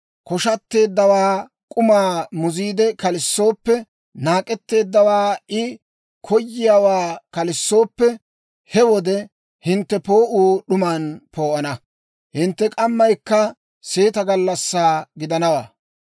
koshshaatteeddawaa k'umaa muziide kalissooppe, naak'etteeddawaa I koyiyaawaa kalissooppe, he wode hintte poo'uu d'uman poo'ana; hintte k'ammaykka seeta gallassaa gidanawaa.